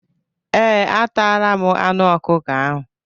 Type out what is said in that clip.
Ee, ataala m anụ ọkụkọ ahụ.